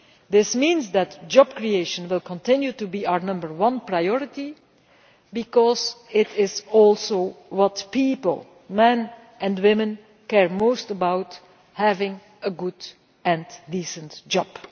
This means that job creation will continue to be our number one priority, because it is also what people men and women care most about having a good and decent job.